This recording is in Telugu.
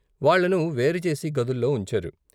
వాళ్ళని వేరు చేసి గదుల్లో ఉంచారు.